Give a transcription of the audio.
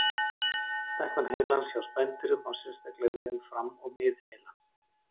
Stækkun heilans hjá spendýrum á sérstaklega við um fram- og miðheila.